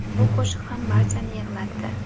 Bu qo‘shiq ham barchani yig‘latdi.